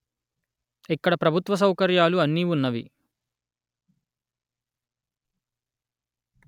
ఇక్కడ ప్రభుత్వ సౌకర్యాలు అన్ని వున్నవి